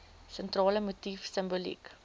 sentrale motief simboliek